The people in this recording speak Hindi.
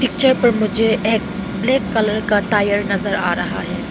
मुझे एक ब्लैक कलर का टायर नजर आ रहा है।